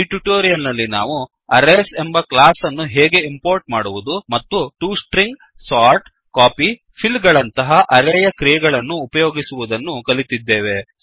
ಈ ಟ್ಯುಟೋರಿಯಲ್ ನಲ್ಲಿ ನಾವು ಅರೇಸ್ ಎಂಬ ಕ್ಲಾಸ್ ಅನ್ನು ಹೇಗೆ ಇಂಪೋರ್ಟ್ ಮಾಡುವುದು ಮತ್ತು ಟಿಒ stringsಸೋರ್ಟ್ ಕಾಪಿ ಫಿಲ್ ಗಳಂತಹ ಅರೇಯ ಕ್ರಿಯೆಗಳನ್ನು ಉಪಯೋಗಿಸುವುದನ್ನು ಕಲಿತಿದ್ದೇವೆ